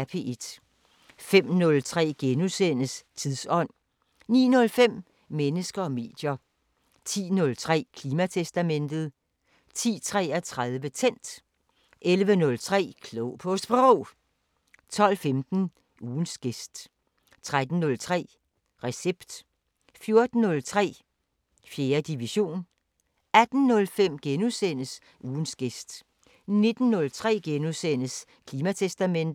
05:03: Tidsånd * 09:05: Mennesker og medier 10:03: Klimatestamentet 10:33: Tændt 11:03: Klog på Sprog 12:15: Ugens gæst 13:03: Recept 14:03: 4. division 18:05: Ugens gæst * 19:03: Klimatestamentet *